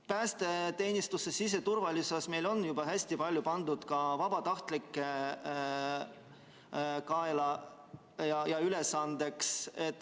Päästeteenistuses, üldse siseturvalisuses on juba hästi palju pandud vabatahtlike kaela, nende ülesandeks.